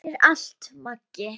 Takk fyrir allt, Maggi.